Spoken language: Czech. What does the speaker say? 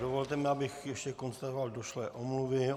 Dovolte mi, abych ještě konstatoval došlé omluvy.